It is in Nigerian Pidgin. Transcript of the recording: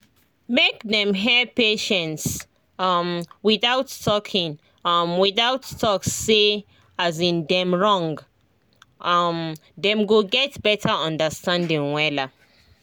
make them hear patients um without talking um without talk say um dem wrong um dem go get better understanding wella